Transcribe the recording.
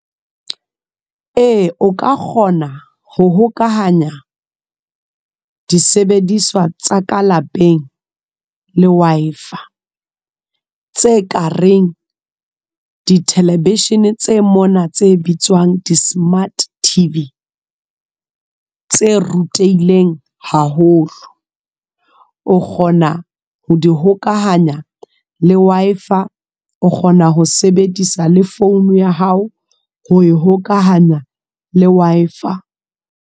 Eya, o ka kgona ho hokahanya disebediswa tsa ka lapeng le Wi-Fi a tse kareng di thelevishene tse mona tse bitswang di-smart T_V tse rutehileng haholo o kgona ho di hokahanya le Wi-Fi o kgona ho sebedisa le founu ya hao ho hokahanya le Wi-Fi.